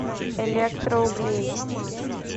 электроуглей